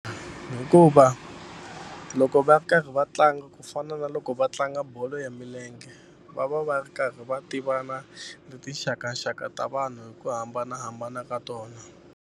Hikuva loko va ri karhi va tlanga ku fana na loko va tlanga bolo ya milenge va va va ri karhi va tivana ni tinxakaxaka ta vanhu hi ku hambanahambana ka tona.